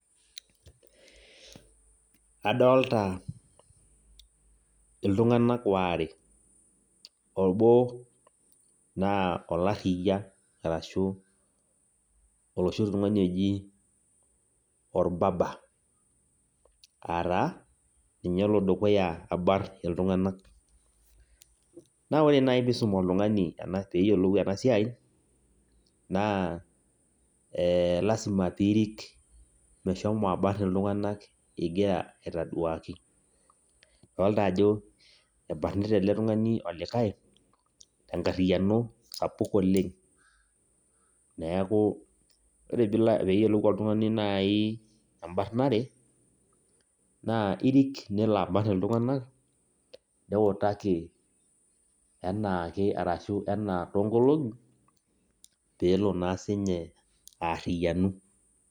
Adolta iltung'anak waare. Obo naa olarriyia, arashu oloshi tung'ani oji or barber. Ataa, ninye olo dukuya abarn iltung'anak. Na ore nai pisum oltung'ani peyiolou enasiai, naa lasima pirik meshomo abarn iltung'anak igira aitaduaki. Adolta ajo ebarnita ele tung'ani olikae, tenkarriyiano sapuk oleng. Neeku, ore peyiolou oltung'ani nai ebarnare, naa irik nelo abarn iltung'anak, niutaki enaake arashu enaa toonkolong'i, pelo na sinye aarriyianu.